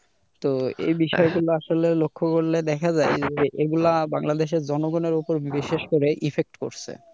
তো এই বিষয়গুলো আসলে লক্ষ্য করলে দেখা যায় যে এগুলা বাংলাদেশের জনগণের ওপর বিশেষ করে effect করছে।